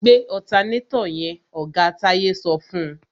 Gbé ọ̀tanátọ̀ yẹn! Oga Táyé sọ fún.